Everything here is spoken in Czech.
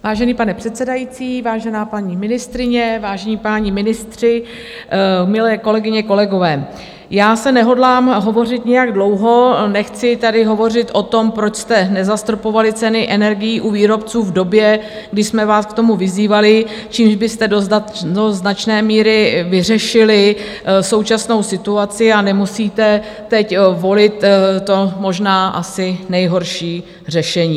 Vážený pane předsedající, vážená paní ministryně, vážení páni ministři, milé kolegyně, kolegové, já zde nehodlám hovořit nějak dlouho, nechci tady hovořit o tom, proč jste nezastropovali ceny energií u výrobců v době, kdy jsme vás k tomu vyzývali, čímž byste do značné míry vyřešili současnou situaci, a nemusíte teď volit to možná asi nejhorší řešení.